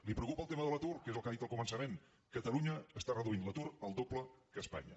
la preocupa el tema de l’atur que és el que ha dit al començament catalunya està reduint l’atur el doble que espanya